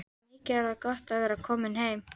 Mikið er gott að vera komin heim!